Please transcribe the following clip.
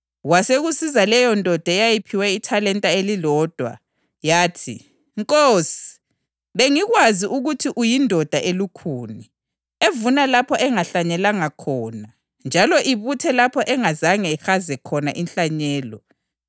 Kwasekusiza leyondoda eyayiphiwe ithalenta elilodwa. Yathi, ‘Nkosi, bengikwazi ukuthi uyindoda elukhuni, evuna lapho engahlanyelanga khona njalo ibuthe lapho engazange ihaze khona inhlanyelo.